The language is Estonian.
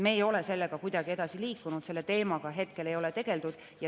Me ei ole sellega kuidagi edasi liikunud, selle teemaga ei ole tegeldud.